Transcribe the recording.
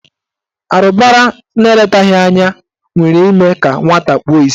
Arụbara na eletaghị anya nwere ime ka nwata kpuo isi.